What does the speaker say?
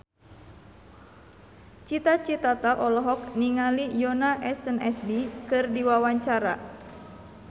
Cita Citata olohok ningali Yoona SNSD keur diwawancara